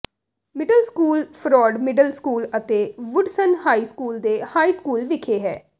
middle school ਫਰੌਡ middle school ਅਤੇ Woodson high school ਦੇ ਹਾਈ ਸਕੂਲ ਵਿਖੇ ਹੈ